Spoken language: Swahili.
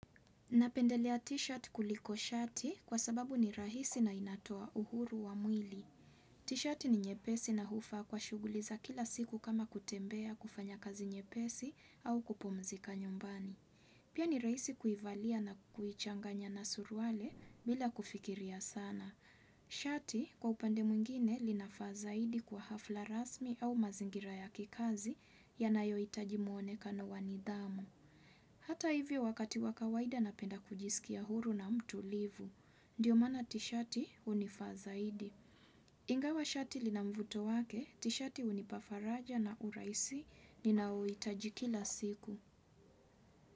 Napendelea t-shirt kuliko shati kwa sababu ni rahisi na inatoa uhuru wa mwili. T-shirt ni nyepesi na hufaa kwa shughuliza kila siku kama kutembea kufanya kazi nyepesi au kupumzika nyumbani. Pia ni rahisi kuivalia na kuichanganya na suruali bila kufikiria sana. Shati kwa upande mwingine linafazaidi kwa hafla rasmi au mazingira ya kikazi ya nayo hitajimuone kano wanidhamu. Hata hivyo wakati wakawaida napenda kujisikia huru na mtu livu. Ndiyo mana tishati unifaa zaidi. Ingawa shati linamvuto wake, tishati unipafaraja na urahisi ni nao uhitajikila siku.